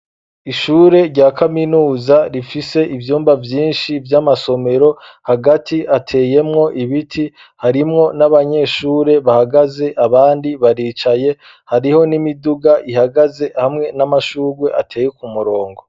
Ishure rya kaminuza rifise ivyumba vyinshi, vy'amasomero hagati ateyemwo ibiti ,harimwo n'abanyeshure bahagaze abandi baricaye ,hariho n'imiduga ihagaze hamwe n'amashugwe ateye kumurongo.